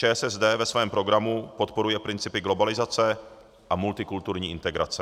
ČSSD ve svém programu podporuje principy globalizace a multikulturní integrace.